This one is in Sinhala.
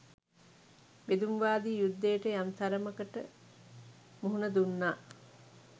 බෙදුම්වාදී යුද්ධයට යම් තරමකට මුහුණ දුන්නා.